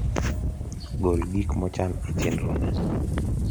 gol gik mochan e chenrona